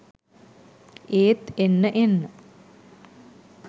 ඒත් එන්න එන්න